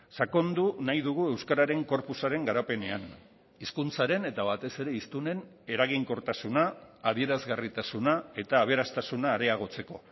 sakondu nahi dugu euskararen corpusaren garapenean hizkuntzaren eta batez ere hiztunen eraginkortasuna adierazgarritasuna eta aberastasuna areagotzeko